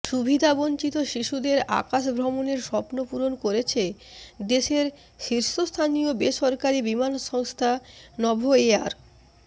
সুবিধাবঞ্চিত শিশুদের আকাশ ভ্রমণের স্বপ্ন পূরণ করেছে দেশের শীর্ষস্থানীয় বেসরকারি বিমান সংস্থা নভোএয়ার